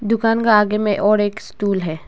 दुकान का आगे में और एक स्टूल है।